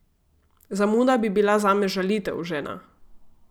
Zamuda bi bila zame žalitev, žena.